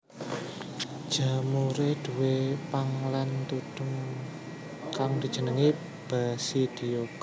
Jamuré duwé pang lan tudhung kang dijenengi basidiokarp